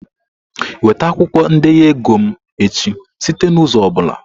Weta akwụkwọ ndenye ego m echi site n'ụzọ ọ bụla!